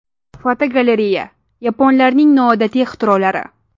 Fotogalereya: Yaponlarning noodatiy ixtirolari.